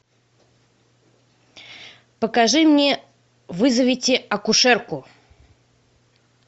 покажи мне вызовите акушерку